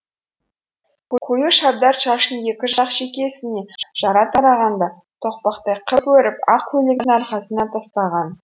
қою шабдар шашын екі жақ шекесіне жара тараған да тоқпақтай қып өріп ақ көйлектің арқасына тастаған